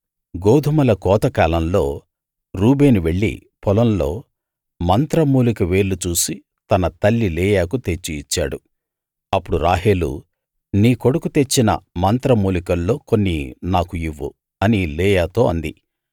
గోదుమల కోతకాలంలో రూబేను వెళ్ళి పొలంలో మంత్రమూలిక వేర్లు చూసి తన తల్లి లేయాకు తెచ్చి ఇచ్చాడు అప్పుడు రాహేలు నీ కొడుకు తెచ్చిన మంత్రమూలికల్లో కొన్ని నాకు ఇవ్వు అని లేయాతో అంది